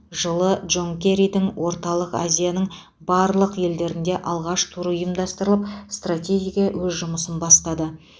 жылы джон керридің орталық азияның барлық елдеріне алғаш туры ұйымдастырылып стратегиеге өз жұмысын бастады